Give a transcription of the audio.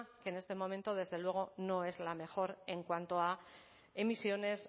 que en este momento desde luego no es la mejor en cuanto a emisiones